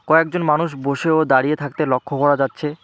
কয়েকজন মানুষ বসে ও দাঁড়িয়ে থাকতে লক্ষ করা যাচ্ছে।